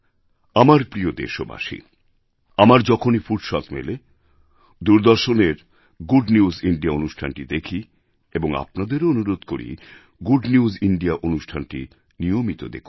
আমার প্রিয় দেশবাসী আমার যখনই ফুরসৎ মেলে দূরদর্শনের গুড নিউজ ইন্দিয়া অনুষ্ঠানটি দেখি এবং আপনাদেরও অনুরোধ করছি গুড নিউজ ইন্দিয়া অনুষ্ঠানটি নিয়মিত দেখুন